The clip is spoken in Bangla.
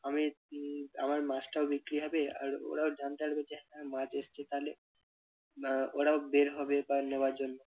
আমি উহ আমার মাছটাও বিক্রি হবে আর ওরাও জানতে পারবে যে হ্যাঁ মাছ এসেছে তালে আহ ওরাও বের হবে মাছ নেওয়ার জন্য।